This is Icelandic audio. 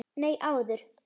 Nei, áður.